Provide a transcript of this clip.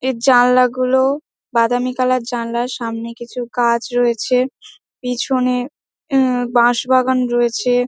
এর জানলাগুলো বাদামি কালার জানলা সামনে কিছু গাছ রয়েছে পিছনে উম বাঁশ বাগান রয়েছে।